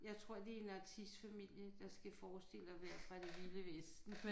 Jeg tror de en artistfamilie der skal forestille at være fra det vilde vesten